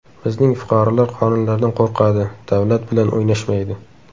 Bizning fuqarolar qonunlardan qo‘rqadi, davlat bilan o‘ynashmaydi.